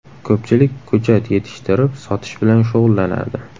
Ko‘pchilik ko‘chat yetishtirib, sotish bilan shug‘ullanadi.